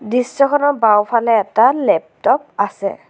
দৃশ্যখনৰ বাওঁফালে এটা লেপটপ আছে।